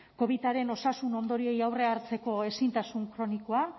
covidaren osasun ondorioei aurrea hartzeko ezintasun kronikoa